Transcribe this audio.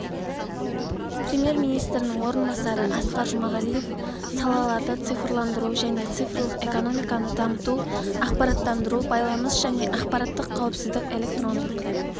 премьер-министрінің орынбасары асқар жұмағалиев салаларды цифрландыру және цифрлық экономиканы дамыту ақпараттандыру байланыс және ақпараттық қауіпсіздік электрондық